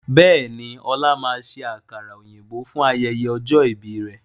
Bẹ́ẹ̀ni, ọlá máa ṣe àkàrà òyìnbó fún ayẹyẹ ọjọ́ ìbí rẹ̀